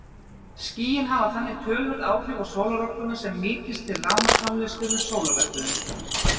Skýin hafa þannig töluverð áhrif á sólarorkuna sem nýtist til rafmagnsframleiðslu með sólarrafhlöðum.